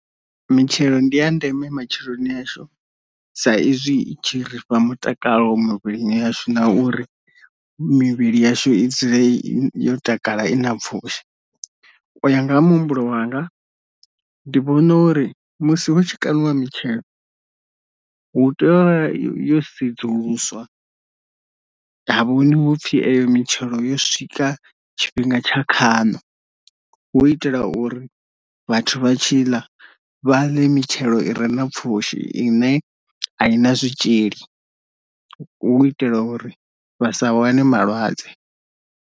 Mitshelo ndi ya ndeme matshiloni ashu sa izwi i tshi rifha mutakalo muvhili yashu na uri mivhili yashu i dzule yo takala ina pfushi, u ya nga ha muhumbulo wanga ndi vhona uri musi hu tshi kaniwa mitshelo hu tea yo sedzuluswa ha vhoniwa upfi iyo mitshelo yo swika tshifhinga tsha khano hu itela uri vhathu vha tshi ḽa vha ḽe mitshelo i re na pfhushi ine ayi na zwitzhili u itela uri vhasa wane malwadze.